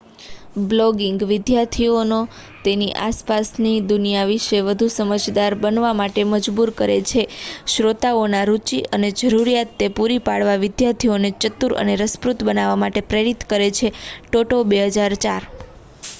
"Blogging "વિદ્યાર્થીઓને તેની આસપાસની દુનિયા વિશે વધુ સમજદાર બનવા માટે મજબૂર કરે છે"". શ્રોતાઓના રુચિ અને જરૂરિયાત ને પુરી પાડવા વિદ્યાર્થીઓને ચતુર અને રસપ્રદ બનવા માટે પ્રેરિત કરે છે ટોટો 2004.